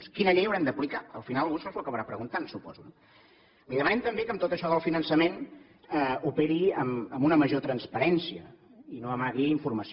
quina llei haurem d’aplicar al final algú això s’ho acabarà preguntant suposo no li demanem també que amb tot això del finançament operi amb una major transparència i no amagui informació